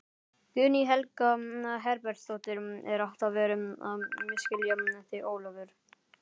Guðný Helga Herbertsdóttir: Er alltaf verið að misskilja þig Ólafur?